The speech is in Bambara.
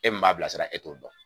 E min m'a bilasira e t'o dɔn